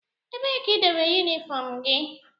Ebee ka idobere unifom gị?